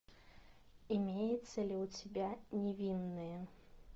имеется ли у тебя невинные